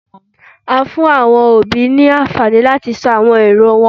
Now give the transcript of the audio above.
a fún awọn òbí ní anfani lati sọ awọn eró wọn